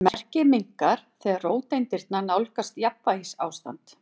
Merkið minnkar þegar róteindirnar nálgast jafnvægisástand.